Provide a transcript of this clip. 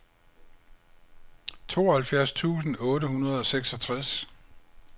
tooghalvfjerds tusind otte hundrede og seksogtres